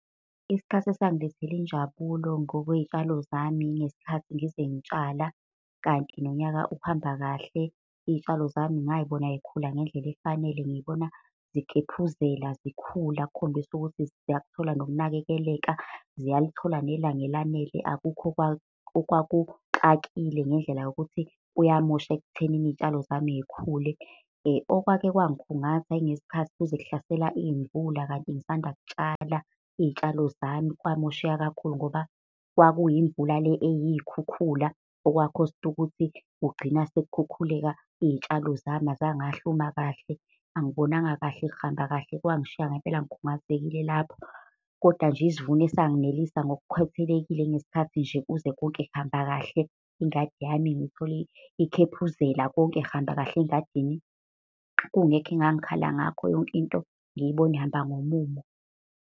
Isikhathi esangilethela injabulo ngokwey'tshalo zami ngesikhathi ngize ngitshala, kanti nonyaka ukuhamba kahle iy'tshalo zami ngay'bona yikhula ngendlela efanele ngibona zikhephuzela zikhula okukhombisa ukuthi ziyakuthola nokunakekeleka. Ziyalithola nelanga elanele akukho okwakuxakile ngendlela yokuthi kuyamosha ekuthenini iy'tshalo zami y'khule. Okwake kwangikhungatha ngesikhathi kuze kuhlasela iy'mvula kanti ngisandakutshala. Iy'tshalo zami kwamosheka kakhulu ngoba kwakuyimvula le eyikhukhula, okwakhosta ukuthi kugcine sekukhukhuleka iy'tshalo zami azangahluma kahle. Angibonanga kahle, kuhamba kahle, kwangishiya ngempela ngikhungathekile lapho. Kodwa nje isivuno esanginelisa ngokukhwethelekile ngesikhathi nje kuze konke kuhamba kahle ingade yami ngiyithole ikhephuzela konke kuhamba kahle engadini. Kungekho engangikhala ngakho yonke into, ngiyibona ihamba ngomumo.